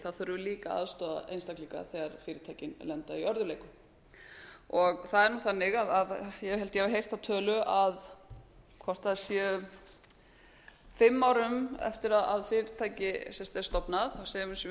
þurfum við líka að aðstoða einstaklinga þegar fyrirtækin lenda í örðugleikum það er nú þannig að ég held að ég hafi heyrt þá tölu hvort það sé fimm árum eftir að fyrirtæki er stofnað segjum að við séum með